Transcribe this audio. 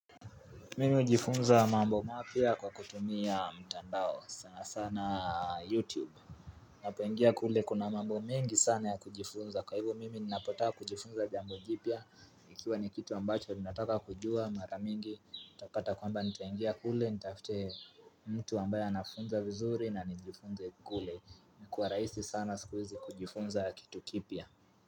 Mimi hujifunza mambo mapya kwa kutumia mtandao sana sana YouTube. Napoingia kule kuna mambo mingi sana ya kujifunza. Kwa hivyo mimi ninapotaka kujifunza jambo jipya, Ikiwa ni kitu ambacho ninataka kujua mara mingi. Utapata kwamba nitaingia kule, nitafute mtu ambaye anafunza vizuri na nijifunze kule. Imekuwa rahisi sana siku hizi kujifunza kitu kipya.